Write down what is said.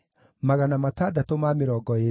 na cia Harifu ciarĩ 112